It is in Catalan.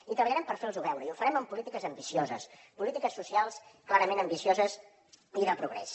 i treballarem per fer los ho veure i ho farem amb polítiques ambicioses polítiques socials clarament ambicioses i de progrés